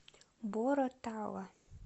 боро тала